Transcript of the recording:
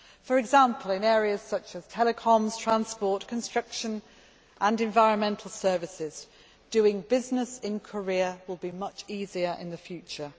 For example, in areas such as telecoms, transport, construction and environmental services, doing business in Korea will be much easier in the future.